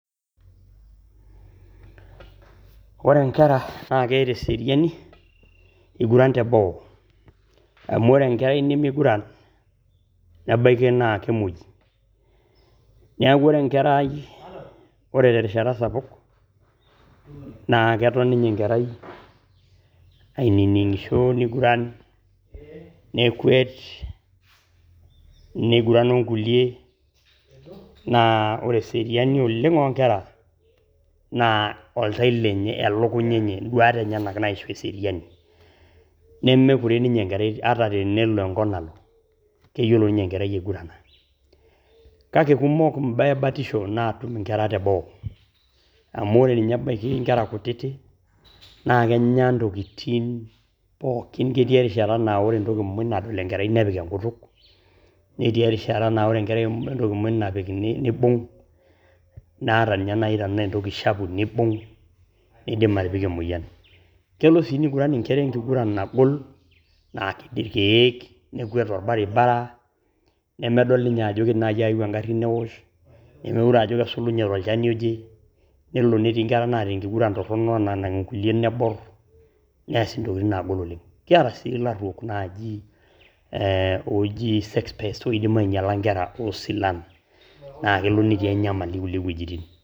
Ore nkera naa keeta eseriani eiguran teboo, amu ore enkerai nimiguran nebaiki naa kemuoi. Niaku ore enkerai, ore terishata sapuk naa keton ninye enkerai ainining`isho niguran nekwet, niguran o nkulie. Naa ore eseriani oleng oo nkera naa oltau lenye, elekunya enye , n`duat enye naisho eseriani. Nemekuret ninye enkerai ata tenelo enkop nalo keyiolo ninye enkerai aigurana. Kake kumok imbaa e batisho naatum nkerai te boo , amu ore ninye ebaiki nkera kutitik naa kenya ntokitin pookin, ketii erishata naa ore entoki pookin nadol enkerai nepik enkutuk. Netii erishata naa ore enkerai entoki muj napik neibung. Naa ata ninye naaji tenaa entoki shafu nibung nidim atipika emoyian. Kelo neiguran nkera enkiguran nagol, naaked ilkiek nekwet tolbaribara nemedol ninye ajo idim naaji ayeu eng`arri newosh, nemeure ajo kesulunye tolchani oje. Nelo netii nkera naata enkiguran torrono naanang nkulie neborr neas ntokitin naagol oleng. Kiata sii ilaruok naaji looji sex pest oidim ainyiala nkera oo silan, naa kelo netii enyamali nkulie wuejitin.